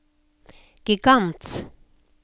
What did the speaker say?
gigant